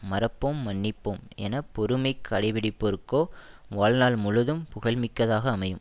மறப்போம் மன்னிப்போம் என பொறுமை கடை பிடிப்பபோருக்கோ வாழ்நாள் முழுதும் புகழ்மிக்கதாக அமையும்